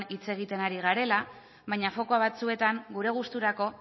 hitz egiten ari garela baina foku batzuetan gure gusturako